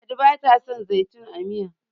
ladi ba ta son sa zaitun a Miya